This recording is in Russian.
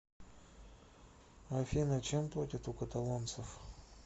афина чем платят у каталонцев